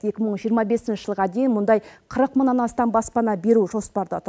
екі мың жиырма бесінші жылға дейін мұндай қырық мыңнан астам баспана беру жоспарда тұр